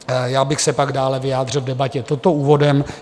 Já bych se pak dále vyjádřil v debatě, toto úvodem.